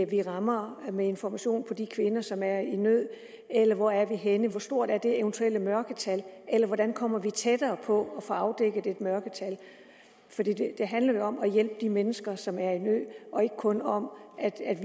vi rammer med information for de kvinder som er i nød eller hvor er vi henne hvor stort er det eventuelle mørketal eller hvordan kommer vi tættere på at få afdækket et mørketal for det handler jo om at hjælpe de mennesker som er i nød og ikke kun om at